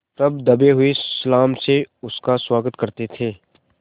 तब दबे हुए सलाम से उसका स्वागत करते थे